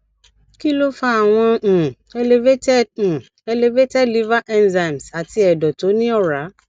kí ló fa àwọn um elevated um elevated liver enzymes àti ẹdọ tó ní ora